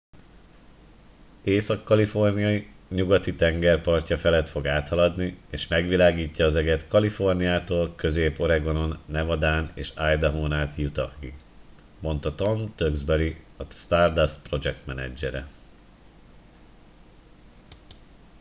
észak kalifornia nyugati tengerpartja felett fog áthaladni és megvilágítja az eget kaliforniától közép oregonon nevadán és idahón át utahig mondta tom duxbury a stardust projektmenedzsere